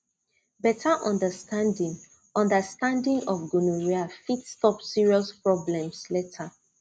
better understanding understanding of gonorrhea fit stop serious problems later